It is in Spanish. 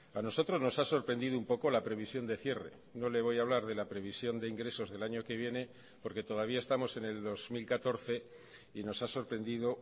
a nosotros nos ha sorprendido un poco la previsión de cierre no le voy a hablar de la previsión de ingresos del año que viene porque todavía estamos en el dos mil catorce y nos ha sorprendido